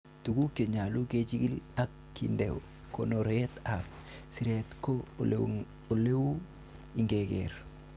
Tuguk che nyolu kechigil ak kinde konoret ab siret ko eleu ingekeer.